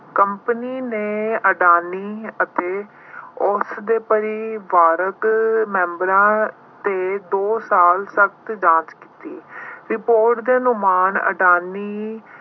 company ਨੇ ਅਡਾਨੀ ਅਤੇ ਉਸਦੇ ਪਰਿਵਾਰਕ members ਤੇ ਦੋ ਸਾਲ ਤੱਕ ਜਾਂਚ ਕੀਤੀ। report ਦੇ ਅਨੁਮਾਨ ਅਡਾਨੀ